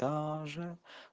даже